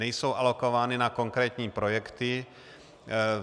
Nejsou alokovány na konkrétní projekty.